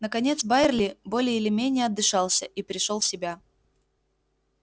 наконец байерли более или менее отдышался и пришёл в себя